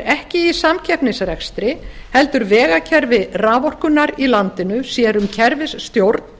ekki í samkeppnisrekstri heldur vegakerfi raforkunnar í landinu sér um kerfisstjórn